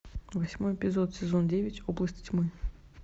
восьмой эпизод сезон девять области тьмы